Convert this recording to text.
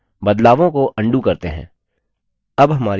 बदलावों को अन्डू करते हैं